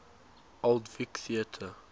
old vic theatre